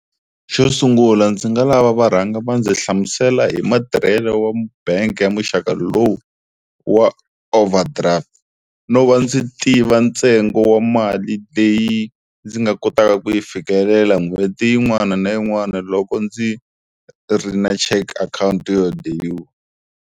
Xo sungula ndzi nga lava va rhanga va ndzi hlamusela hi matirhelo wa bangi ya muxaka lowu wa overdraft, no va ndzi tiva ntsengo wa mali leyi ndzi nga kotaka ku yi fikelela n'hweti yin'wana na yin'wana loko ndzi ri na cheque account yo